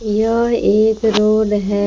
यह एक रोड है ।